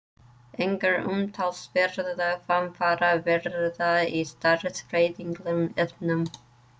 Engar umtalsverðar framfarir verða í stærðfræðilegum efnum.